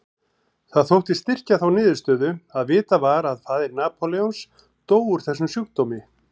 Það þótti styrkja þá niðurstöðu að vitað var að faðir Napóleons dó úr þessum sjúkdómi.